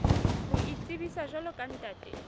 ho itsebisa jwalo ka ntate